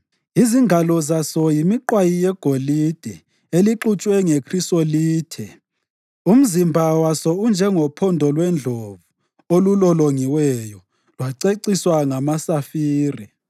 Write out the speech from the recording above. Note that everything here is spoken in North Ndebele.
Izingalo zaso yimiqwayi yegolide elixutshwe ngekhrisolithe. Umzimba waso unjengophondo lwendlovu olulolongiweyo lwaceciswa ngamasafire.